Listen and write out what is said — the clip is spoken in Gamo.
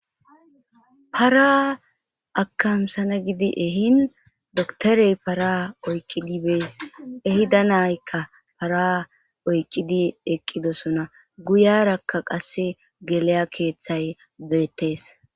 Para akamsana gidi ehin doktorey para oyqqidi bees ehida naykka para oyqqidi eqqidosona guyarakka qasse geleya keeththay beettees.